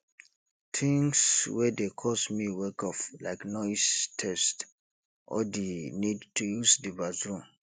things wey dey cause me wake up like noise thirst or di need to use di bathroom